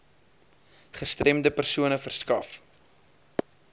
gestremde persone verskaf